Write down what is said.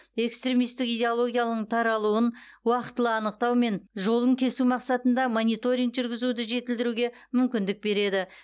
экстремистік идеологияның таралуын уақытылы анықтау мен жолын кесу мақсатында мониторинг жүргізуді жетілдіруге мүмкіндік береді